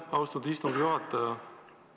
Aitäh, austatud istungi juhataja!